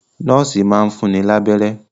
Nọ́ọ̀sì máa ń fún ni lábẹ́rẹ́